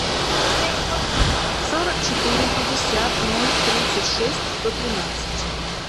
сорок четыре пятьдесят ноль тридцать шесть сто тринадцать